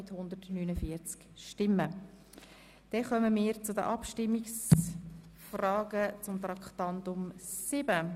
Damit kommen wir zu den Abstimmungen über Traktandum 7.